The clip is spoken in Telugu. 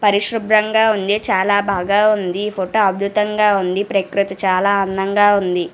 పరిశుబ్రాంగా ఉంది చాల బాగా వుంది ఈ ఫోటో అద్భుతంగా వుంది ప్రక్రుతి చాల అందంగా వుంది